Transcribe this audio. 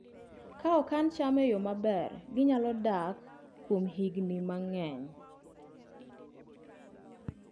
Ka okan cham e yo maber, ginyalo dak kuom higini mang'eny